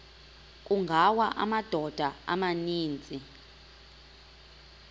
kungawa amadoda amaninzi